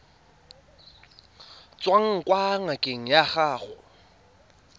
tswang kwa ngakeng ya gago